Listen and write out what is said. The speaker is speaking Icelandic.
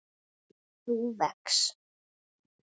þú vex.